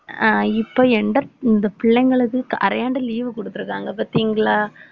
அஹ் இப்ப எந்தப் இந்த பிள்ளைங்களுக்கு க~ அரையாண்டு leave குடுத்திருக்காங்க பார்த்தீங்களா